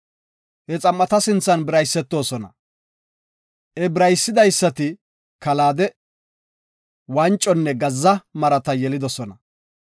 he xam7ata sinthan biraysetosona. He biraysidaysati kalaade, wanconne gazza marata yelidosona.